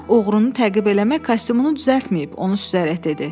“Görürəm oğrunu təqib eləmək kostyumunu düzəltməyib,” onu süzərək dedi.